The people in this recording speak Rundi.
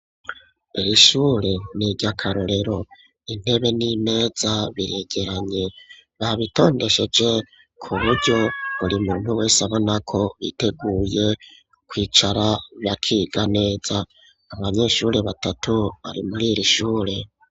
Irishure niryakarorero intebe n'imeza biregeranye babitondesheje kuburyo buri muntu wese abona ko biteguye kwicara bakiga neza abanyeshuri batatu bari mwi shure.